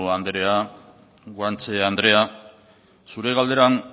andrea guanche andrea zure galderan